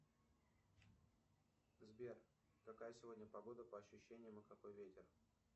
сбер какая сегодня погода по ощущениям и какой ветер